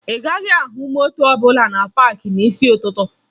Ị gaghị ahụ moto ọbụla na paakị n'isi ụtụtụ